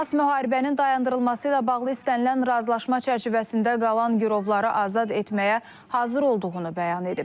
Həmas müharibənin dayandırılması ilə bağlı istənilən razılaşma çərçivəsində qalan girovları azad etməyə hazır olduğunu bəyan edib.